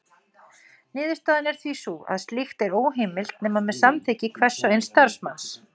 Niðurstaðan er því sú að slíkt er óheimilt nema með samþykki hvers og eins starfsmanns.